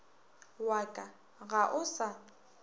wa ka ga o sa